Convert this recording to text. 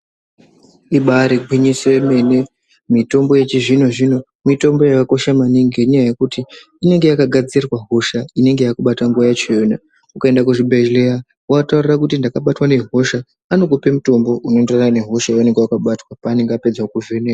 Ibari gwinyiso remene mitombo yechizvino zvino mitombo yakakosha maningi ngenda yekuti inenge yakagadzirwa hosha yekubata nguwa yachona ukaenda kuzvibhedhlera anokupa mitombo inoenderana nehosha inenge yakakubata.